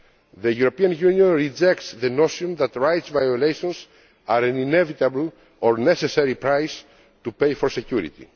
The European Union rejects the notion that rights violations are an inevitable or necessary price to pay for security.